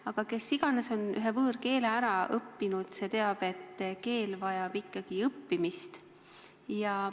Aga kes iganes on ühe võõrkeele ära õppinud, see teab, et keel vajab ikka õppimist.